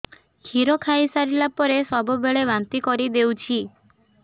କ୍ଷୀର ଖାଇସାରିଲା ପରେ ସବୁବେଳେ ବାନ୍ତି କରିଦେଉଛି